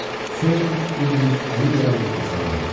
Hüseyn İbn Əli əl-Mürtəzanın.